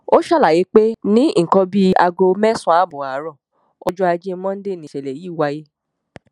ó ṣàlàyé pé ní nǹkan bíi aago mẹ́sàn-án ààbọ̀ àárọ̀ ọjọ́ ajé mọ́ńdè nìṣẹ̀lẹ̀ yìí wáyé